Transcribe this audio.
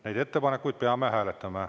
Neid ettepanekuid peame hääletama.